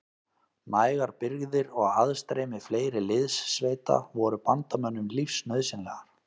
Nægar birgðir og aðstreymi fleiri liðssveita voru bandamönnum lífsnauðsynlegar.